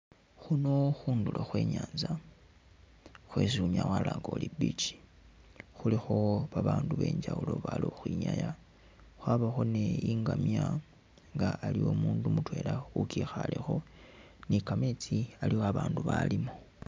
Khuno khundulo khwe nyanza khwesi unyala walanga uri i'beach, khulikho babaandu benjawulo bali khukhwinyaa wabawo ni ngamya nga umundu mutwela ukikhalekho ni'kametsi aliwo babandu balimo